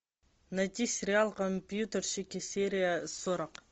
найти сериал компьютерщики серия сорок